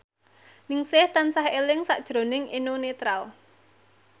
Ningsih tansah eling sakjroning Eno Netral